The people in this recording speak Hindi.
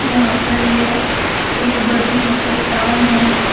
यहां पर यह एक बड़ी सी चट्टान है।